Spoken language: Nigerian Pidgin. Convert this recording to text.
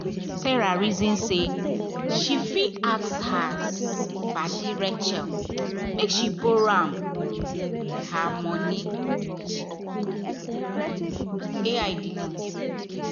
sarah reason say she fit ask her padi rachel make she borrow um her borrow um her money